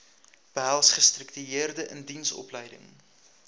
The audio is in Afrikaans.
behels gestruktureerde indiensopleiding